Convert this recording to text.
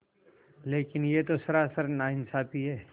लेकिन यह तो सरासर नाइंसाफ़ी है